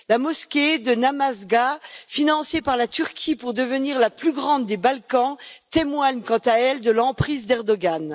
La mosquée de Namazgâh, financée par la Turquie pour devenir la plus grande des Balkans, témoigne, quant à elle, de l'emprise d'Erdogan.